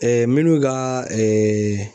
minnu ka